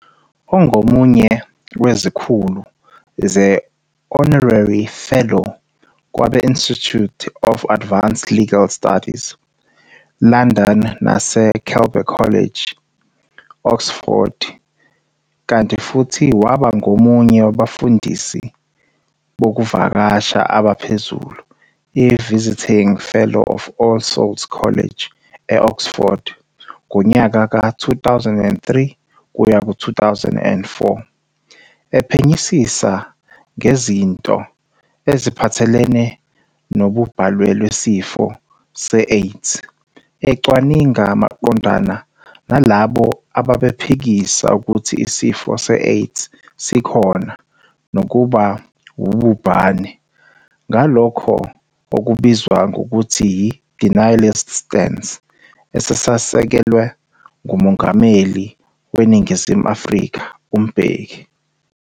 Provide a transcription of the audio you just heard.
Ongomunye wezikhulu ze-honarary fellow kwabe-Institute of Advanced Legal Studies, London nase-Keble College, Oxford, kanti futhi waba ngomunye wabafundisi bokuvakasha abaphezulu, i-visiting fellow of ALL Souls College, e-Oxford ngonyaka ka 2003-04, epphenyisisa ngezindo eziphathelene nobubhalwe lwesifo se-AIDS, ecwaninga maqondana nalabo ababephikisa ukuthi isifo se-AIDS sikhona nokuba wububhane ngalokho okubizwa ngokuthi yi-denialist stance, esasisekelwa nguMongameli waseNingizimu Afrika uMbeki.